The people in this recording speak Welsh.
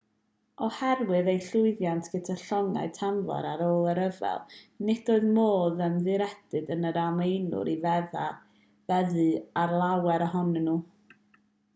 oherwydd eu llwyddiant gyda llongau tanfor ar ôl y rhyfel nid oedd modd ymddiried yn yr almaenwyr i feddu ar lawer ohonyn nhw